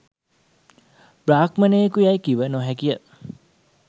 බ්‍රාහ්මණයෙකු යැයි කිව නොහැකිය